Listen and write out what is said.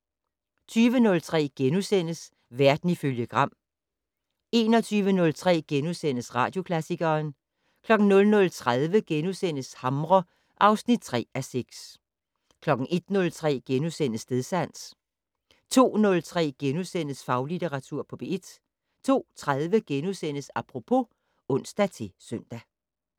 20:03: Verden ifølge Gram * 21:03: Radioklassikeren * 00:30: Hamre (3:6)* 01:03: Stedsans * 02:03: Faglitteratur på P1 * 02:30: Apropos *(ons-søn)